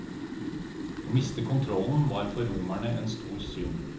Å miste kontrollen var for romerne en stor synd.